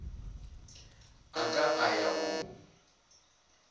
a ka a ya go